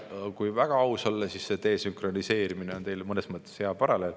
Kui väga aus olla, siis see desünkroniseerimine on teil mõnes mõttes hea paralleel.